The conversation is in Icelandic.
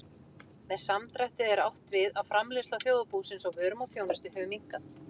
Með samdrætti er átt við að framleiðsla þjóðarbúsins á vörum og þjónustu hefur minnkað.